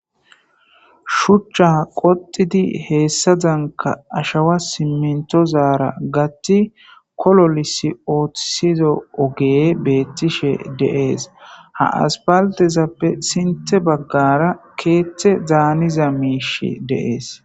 shuchcha qoxidi heessa zanka ashawa simmentozaara gatti kololisi ootsizo oge beettishe deees ha aspaltezappe sinte baggara keette zaaniza miish deees